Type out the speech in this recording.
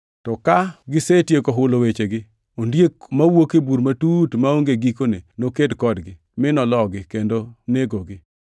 To ka gisetieko hulo wechegi, ondiek mawuok e bur matut maonge gikone noked kodgi, mi nologi kendo negogi.